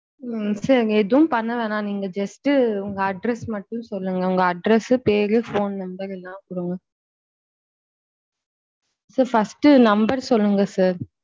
உம் sir எதுவும் பண்ண வேணாம் நீங்க just உங்க address மட்டும் சொல்லுங்க உங்க address சு பேரு phone number எல்லாம் குடுங்க sir first number சொல்லுங்க sir.